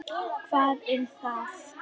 En þetta er þitt líf.